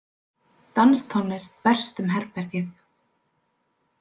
Danstónlist berst um herbergið.